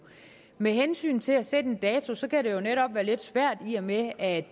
med hensyn til at sætte en dato kan det jo netop være lidt svært i og med at